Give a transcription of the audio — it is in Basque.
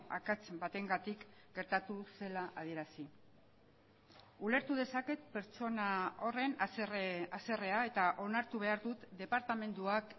akats batengatik gertatu zela adierazi ulertu dezaket pertsona horren haserrea eta onartu behar dut departamentuak